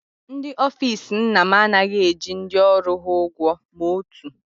Ndị ofiisi nna m anaghị eji ndị ọrụ ha ụgwọ ma otu